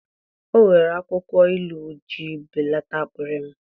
O were akwukwo ilu iji belata akpịrị m.